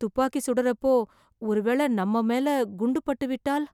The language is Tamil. துப்பாக்கி சுடறப்போ , ஒருவேளை நம்ம மேல குண்டு பட்டுவிட்டால்...